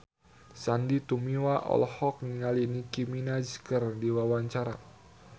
Sandy Tumiwa olohok ningali Nicky Minaj keur diwawancara